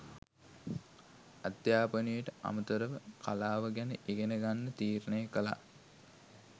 අධ්‍යාපනයට අමතරව කලාව ගැන ඉගෙන ගන්න තීරණය කළා.